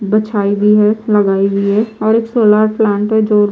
बिछाई भी है लगाई भी है। और एक सोलर प्लांट है। जो --